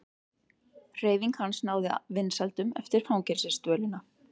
Hreyfing hans náði aldrei vinsældum eftir fangelsisdvölina.